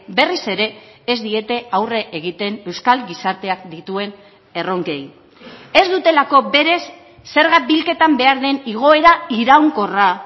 berriz ere ez diete aurre egiten euskal gizarteak dituen erronkei ez dutelako berez zerga bilketan behar den igoera iraunkorra